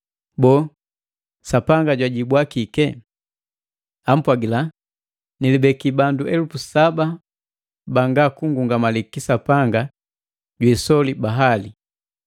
Boo, Sapanga jwajibwa kii? Ampwagila, “Nilibeki bandu elupu saba banga kunngungamali kisapanga jwiisoli Baali.”